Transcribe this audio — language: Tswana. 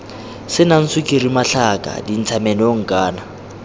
senang sukiri matlhaka dintshamenong kana